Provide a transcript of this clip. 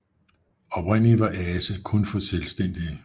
Oprindeligt var Ase kun for selvstændige